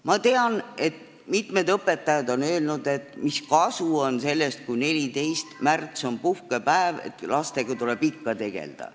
Ma tean, et mitmed õpetajad on öelnud, et mis kasu on sellest, kui 14. märts on puhkepäev, lastega tuleb ikka tegeleda.